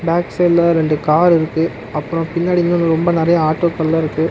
அஃஷுவல்லா ரெண்டு கார் இருக்கு அப்றோ பின்னாடி வந்து இன்னும் ரொம்ப நறையா ஆட்டோக்கள்லா இருக்கு.